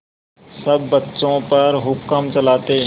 सब बच्चों पर हुक्म चलाते